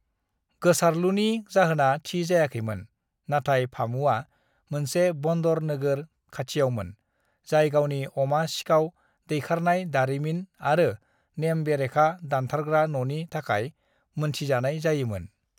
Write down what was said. "गोसारलुनि जाहोना थि जायाखैमोन, नाथाय फामुआ मोनसे बन्दर नोगोर खाथियावमोन, जाय गावनि अमा-सिखाव दैखारनाय दारिमिन आरो नेम बेरेखा दानथारग्रा न'नि थाखाय मोनथिजानाय जायोमोन।"